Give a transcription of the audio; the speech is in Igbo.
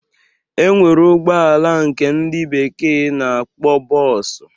E nwere ụgbọala nke ndị bekee na-akpọ bọọsụ.